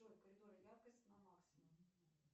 джой в коридоре яркость на максимум